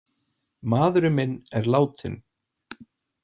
Maðurinn minn er látinn.